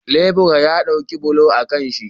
Lebura ya ɗauko bulo a kanshi